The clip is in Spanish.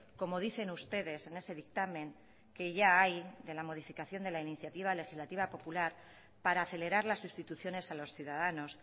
como dicen ustedes en ese dictamen que ya hay de la modificación de la iniciativa legislativa popular para acelerar las instituciones a los ciudadanos